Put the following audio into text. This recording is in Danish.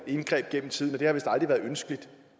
indgreb gennem tiden at det vist aldrig har været ønskeligt